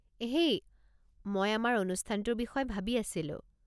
হেই, মই আমাৰ অনুষ্ঠানটোৰ বিষয়ে ভাবি আছিলোঁ।